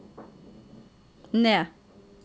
ned